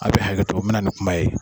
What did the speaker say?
A bɛ hakɛto, n bɛna ni kuma ye.